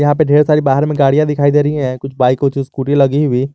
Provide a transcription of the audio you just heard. यहां पे ढेर सारी बाहर में गाड़ियां दिखाई दे रही हैं कुछ बाइक और स्कूटी लगी हुई।